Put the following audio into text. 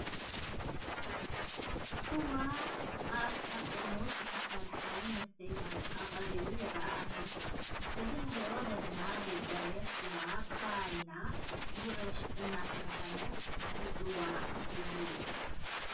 ሱዋ ኣብ ካብ ጠርሙዝ ዝተሰርሐ መስተዪ ዋንጫ ቀሪቡ ይርአ ኣሎ፡፡ እዚ ንሪኦ ዘለና ዘይፀረየ ስዋ ብኸባቢና ጉዕሽ እናተባህለ ዝፅዋዕ እዩ፡፡